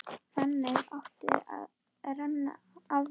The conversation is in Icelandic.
Þannig átti að renna af mér.